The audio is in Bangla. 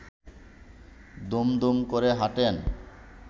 দুমদুম করে হাঁটেন